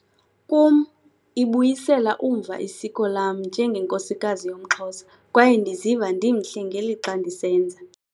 Kum, ibuyisela umva isiko lam njengenkosikazi yomXhosa - kwaye ndiziva ndimhle ngelixa ndisenza.